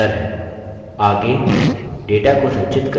अब हम अंदर हैं